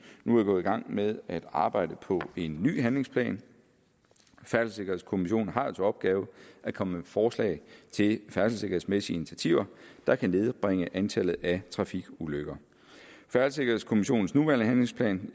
nu er gået i gang med at arbejde på en ny handlingsplan færdselssikkerhedskommissionen har jo til opgave at komme med forslag til færdselssikkerhedsmæssige initiativer der kan nedbringe antallet af trafikulykker færdselssikkerhedskommissionens nuværende handlingsplan